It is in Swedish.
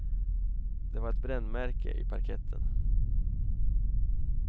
Det var ett brännmärke i parketten.